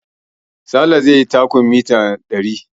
Sale zai yi takun mita ɗari